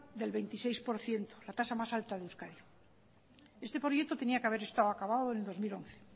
del veintiséis por ciento la tasa más alta de euskadi este proyecto tenía que a ver estado acabado en el dos mil once